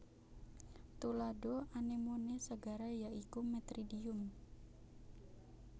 Tuladha anemone segara ya iku Metridium